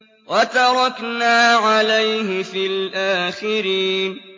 وَتَرَكْنَا عَلَيْهِ فِي الْآخِرِينَ